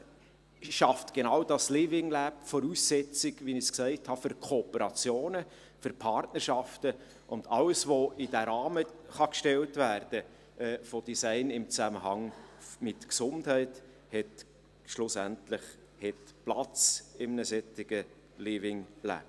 Schlussendlich schafft genau dieses Living Lab die Voraussetzungen – wie ich es gesagt habe – für Kooperationen, für Partnerschaften, und alles, was in diesen Rahmen von Design im Zusammenhang mit Gesundheit gestellt werden kann, hat schlussendlich Platz in einem solchen Living Lab.